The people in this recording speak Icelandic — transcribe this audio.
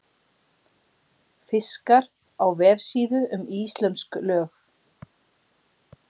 Fiskar á vefsíðu um íslömsk lög.